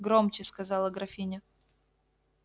громче сказала графиня